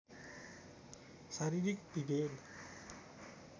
शारीरिक विभेद